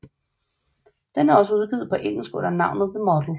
Den er også udgivet på engelsk under navnet The model